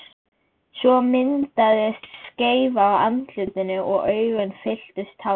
Svo myndaðist skeifa á andlitinu og augun fylltust tárum.